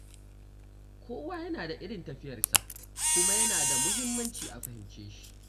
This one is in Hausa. Kowa yana da irin tafiyarsa, kuma yana da muhimmanci a fahimce shi.